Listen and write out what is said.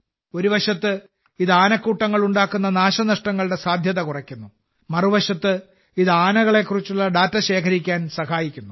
ഒരു വശത്ത് ഇത് ആനക്കൂട്ടങ്ങൾ ഉണ്ടാക്കുന്ന നാശനഷ്ടങ്ങളുടെ സാധ്യത കുറയ്ക്കുന്നു മറുവശത്ത് ഇത് ആനകളെക്കുറിച്ചുള്ള ഡാറ്റ ശേഖരിക്കാൻ സഹായിക്കുന്നു